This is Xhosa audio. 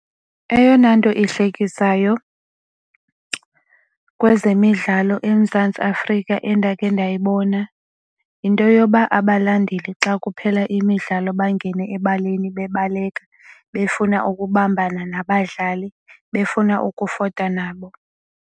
Eyona nto ihlekisayo kwezemidlalo eMzantsi Afrika endakhe ndayibona yinto yoba abalandeli xa kuphela imidlalo bangene ebaleni bebaleka befuna ukubambana nabadlali befuna ukufota nabo.